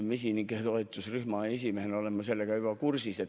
Mesinike toetusrühma esimehena olen ma selle nende murega kursis.